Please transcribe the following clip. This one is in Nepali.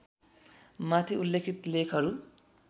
माथि उल्लेखित लेखहरू